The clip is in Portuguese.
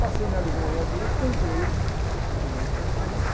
Passei na livraria, comprei uh, o Novo Testamento.